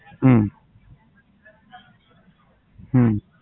હમ હમ